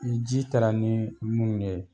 Ni ji taara ni munnu ye